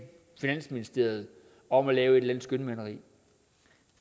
finansministeriet om at lave et skønmaleri